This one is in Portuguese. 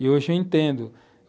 E hoje eu entendo.